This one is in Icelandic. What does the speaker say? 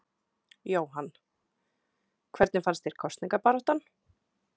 Jóhann: Hvernig fannst þér kosningabaráttan?